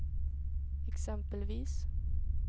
exempelvis